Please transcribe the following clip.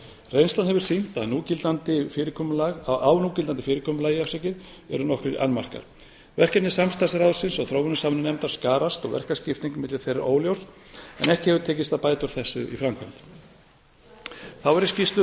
reynslan hefur sýnt að á núgildandi fyrirkomulagi eru nokkrir annmarkar verkefni samstarfsráðsins og þróunarsamvinnunefndar skarast og verkaskipting milli þeirra er óljós en ekki hefur tekist að bæta úr þessu í framkvæmd þá er í skýrslu